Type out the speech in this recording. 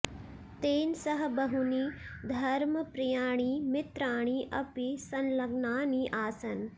तेन सह बहूनि धर्मप्रियाणि मित्राणि अपि संलग्नानि आसन्